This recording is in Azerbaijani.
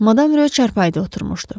Madam Ro çarpayıda oturmuşdu.